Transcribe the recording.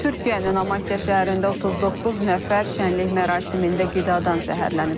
Türkiyənin Amasya şəhərində 39 nəfər şənlik mərasimində qidadan zəhərlənib.